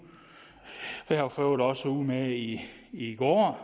var jeg for øvrigt også ude med i i går